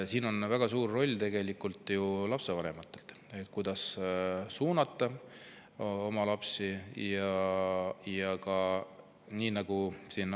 Siin on väga suur roll ju lapsevanematel, kes peaksid oma lapsi suunama.